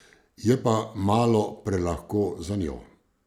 Je pa malo prelahko zanjo.